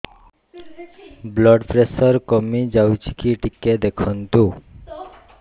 blood pressure କମି ଯାଉଛି କି ଟିକେ ଦେଖନ୍ତୁ